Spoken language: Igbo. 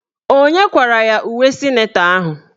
Onye kwara ya uwe sịnetọ ahụ?